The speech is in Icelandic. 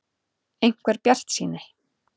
. einhver bjartsýni.